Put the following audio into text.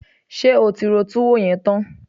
Ṣé o ti ro túwó yẹn tán?